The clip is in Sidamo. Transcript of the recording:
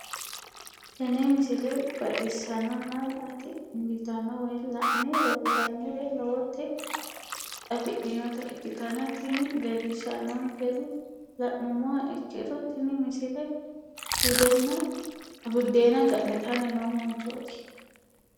tenne misile baxisannonna la"ate injiitanno woy la'ne ronsannire lowote afidhinota ikkitanna tini leellishshannonkeri la'nummoha ikkiro tini misile buddeena ga'nitanni noo manchooti.